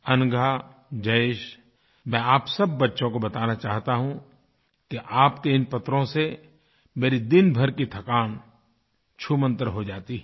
अनघा जयेशमैं आप सब बच्चों को बताना चाहता हूँ कि आपके इन पत्रों से मेरे दिनभर की थकान छूमन्तर हो जाती है